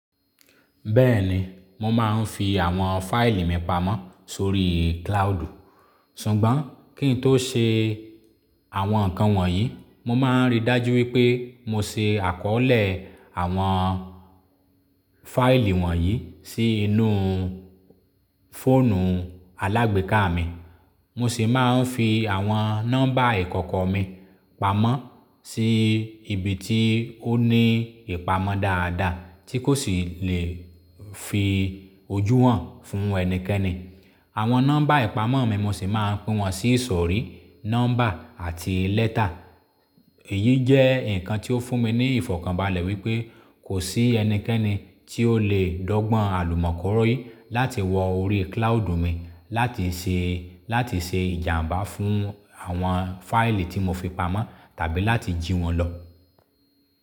Bẹ́ẹ̀ni, mo máa ń fi àwọn fáìlì mi pamọ́ sórí cloud. Ṣùgbọ́n kí n tó ṣe àwọn nǹkan wọ̀nyí, mo máa ń rí dájú wípé mo se àkọọ́lẹ̀ àwọn fáìlì wọ̀nyí sí inú fóònù alágbèéká mi. Mo sì máa ń fi àwọn nọ́mbà ìkọ̀kọ̀ mi pamọ́ sí ibi tí ó ní ìpamọ́ dáadáa tí kò sì lè fi ojú hàn fún ẹnikẹ́ni. Àwọn nọ́mbà ìpamọ́ mi mo sì máa pín wọn sí ìsọ̀rí nọ́mbà àti lẹ́tà. Èyí jẹ́ nǹkan tí ó fún mi ní ìfọ̀kànbalẹ̀ wípé kò sí ẹnikẹ́ni tí ó lè dọ́gbọ́n àlùmọ̀kọ̀rọ̀ yìí láti wọ orí cloud mi láti ṣe, láti ṣe ìjàmbá fún àwọn fáìlì tí mo fi pamọ́ tàbí láti jí wọn lọ.